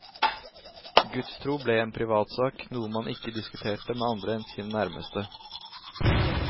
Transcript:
Gudstro ble en privatsak, noe man ikke diskuterte med andre enn sine nærmeste.